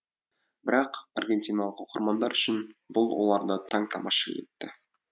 бірақ аргентиналық оқырмандар үшін бұл оларды таң тамаша етті